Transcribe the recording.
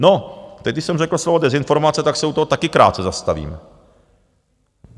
No, teď, když jsem řekl slovo dezinformace, tak se u toho taky krátce zastavím.